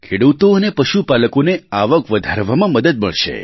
ખેડૂતો અને પશુપાલકોને આવક વધારવામાં મદદ મળશે